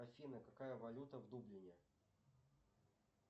афина какая валюта в дублине